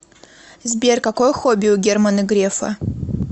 сбер какое хобби у германа грефа